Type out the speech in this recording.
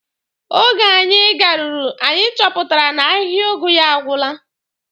Oge anyị garuru, anyị chọpụtara na ahịhịa ụgụ ya agwụla.